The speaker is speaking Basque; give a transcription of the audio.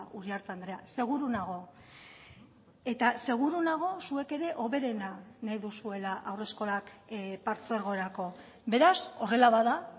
uriarte andrea seguru nago eta seguru nago zuek ere hoberena nahi duzuela haurreskolak partzuergorako beraz horrela bada